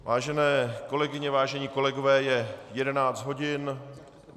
Vážené kolegyně, vážení kolegové, je 11 hodin.